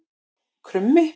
Krummi